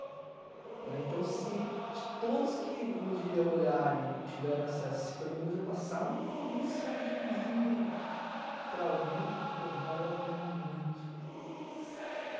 né. Então, se todos que um dia olharem tiverem acesso, se pelo menos eu passar uma mensagenzinha para alguém, pô, valeu a pena muito.